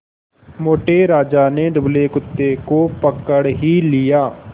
मोटे राजा ने दुबले कुत्ते को पकड़ ही लिया